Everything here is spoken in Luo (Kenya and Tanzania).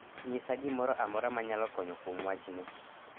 Nyisa gimoro amora manyalo konyo kuom wachni.